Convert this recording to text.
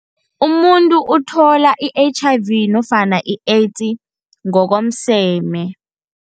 Umuntu uthola i-H_I_V nofana i-AIDS ngokomseme.